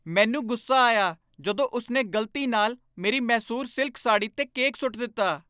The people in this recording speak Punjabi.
ਮੈਨੂੰ ਗੁੱਸਾ ਆਇਆ ਜਦੋਂ ਉਸਨੇ ਗਲਤੀ ਨਾਲ ਮੇਰੀ ਮੈਸੂਰ ਸਿਲਕ ਸਾੜ੍ਹੀ 'ਤੇ ਕੇਕ ਸੁੱਟ ਦਿੱਤਾ।